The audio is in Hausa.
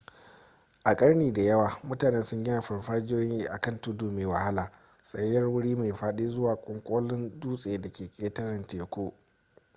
a ƙarni da yawa mutane sun gina farfajiyoyi a kan tudu mai wahala tsayayyar wuri mai faɗi zuwa ƙwanƙolin dutsen da ke ƙetare tekun